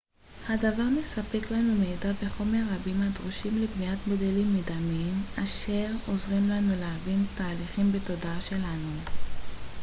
הדבר מספק לנו מידע וחומר רבים הדרושים לבניית מודלים מדמים אשר עוזרים לנו להבין תהליכים בתודעה שלנו